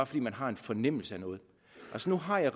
fordi man har en fornemmelse af noget altså nu har jeg